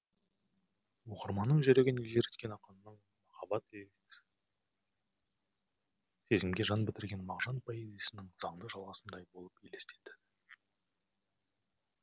оқырманның жүрегін елжіреткен ақынның махаббат лирикасы сезімге жан бітірген мағжан поэзиясының заңды жалғасындай болып елестеді